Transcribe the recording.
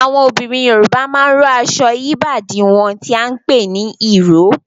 Àwọn obìnrin Yorùbá máa ń rò aṣọ yí ìbàdí wọn tí a ń pè ní ìró